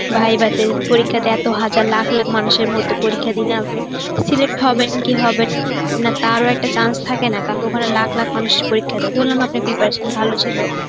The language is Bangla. viva তে পরীক্ষাতে এত হাজার লাখ লাখ মানুষের মধ্যে পরীক্ষা দিলেন আপনি, select হবেন কি হবে কি হবেন না তারও একটা chance থাকে না, কারণ ওখানে লাখ লাখ মানুষ পরীক্ষা দেয়. ধরলাম আপনার preparation ভালো ছিল.